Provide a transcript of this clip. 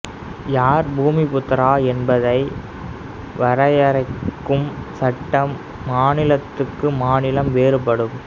யார் பூமிபுத்திரா என்பதை வரையறுக்கும் சட்டம் மாநிலத்துக் மாநிலம் வேறுபடும்